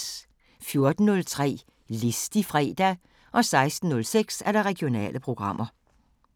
14:03: Listig fredag 16:06: Regionale programmer